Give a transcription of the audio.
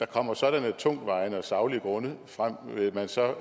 kommer sådanne tungtvejende og saglige grunde frem vil man så